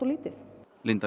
lítið